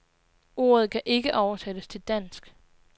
Ordet kan ikke oversættes til dansk.